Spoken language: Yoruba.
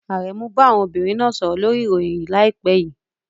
Aremu bá àwọn obìnrin náà sọ̀rọ̀ lórí ìròyìn láìpẹ́ yìí.